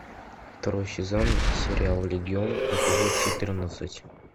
второй сезон сериал легион эпизод четырнадцать